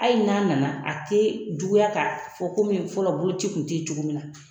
Hali n'a nana , a te juguya ka fɔ fɔlɔ bolo ci kun te yen cogo min na.